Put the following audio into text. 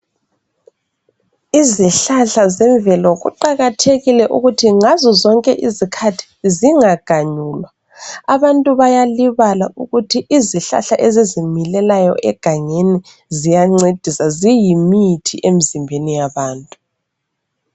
Izihlahla zemvelo kuqakathekile ukuthi ngazozonke izikhathi zingaganyulwa abantu bayalibala ukuthi izihlahla ezizimilelayo egangeni ziyancedisa ziyimithi emzimbeni yabantu.